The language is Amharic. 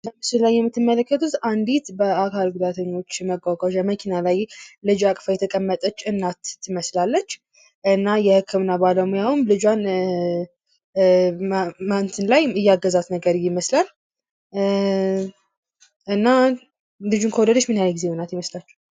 በምስሉ ላይ የምትመለከቱት አንዲት በአካል ጉዳተኞች መጓጓዣ መኪና ላይ ልጅ አቅፋ የተቀመጠች እናት ትመስላለች። እና የክምና ባለሙያውም ልጇን እያገዛት ነገር ይመስላል። እና ልጁን ከወለድች ምን ያህል ይመሳችሃል።